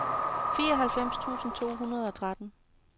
fireoghalvfems tusind to hundrede og tretten